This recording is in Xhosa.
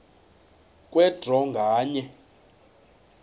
kwe draw nganye